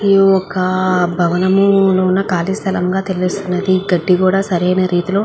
ఇది ఒక భవనము లో ఉన్న కాళిస్థలం ల తెలుస్తున్నది గడ్డి కూడా సరయిన రీతిలో --